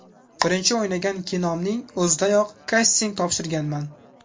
Birinchi o‘ynagan kinomning o‘zidayoq kasting topshirganman.